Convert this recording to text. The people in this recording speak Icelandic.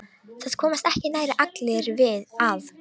Það komast ekki nærri allir að.